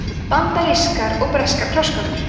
bandarískar og breskar krossgátur